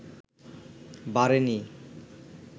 বাড়েনি